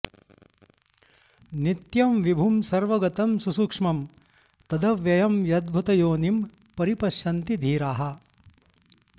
नित्यं विभुं सर्वगतं सुसूक्ष्मं तदव्ययं यद्भूतयोनिं परिपश्यन्ति धीराः